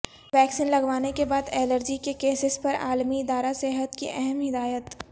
vaccine لگوانے کے بعد الرجی کے کیسز پر عالمی ادارہ صحت کی اہم ہدایت